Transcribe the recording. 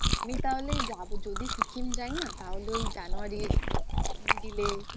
আমি তাহলে যাবো যদি সিকিমে যাই না তাহলে ওই January র middle এ